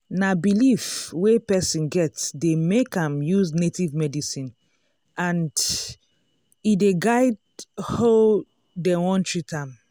na belief wey person get dey make am use native medicine and e dey guide hoe dem wan treat am.